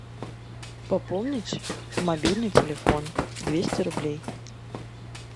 пополнить мобильный телефон двести рублей